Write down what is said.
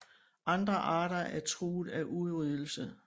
Andre arter er truet af udryddelse